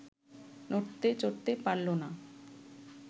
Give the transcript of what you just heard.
নড়তে চড়তে পারল না